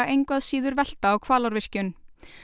engu að síður velta á Hvalárvirkjun